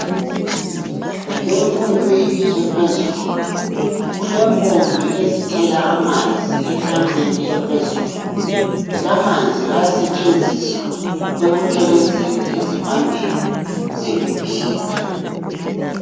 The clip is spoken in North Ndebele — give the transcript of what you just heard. Emfundweni ephezulu kulempompi ezithela amanzi etankeni ephezulu lamanzi ayasetshenziswa ekuthelezeni ezivandeni zemibhida.